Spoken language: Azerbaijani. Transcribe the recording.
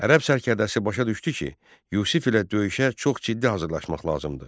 Ərəb sərkərdəsi başa düşdü ki, Yusif ilə döyüşə çox ciddi hazırlaşmaq lazımdır.